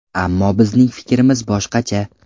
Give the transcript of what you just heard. Ammo bizning fikrimiz boshqacha.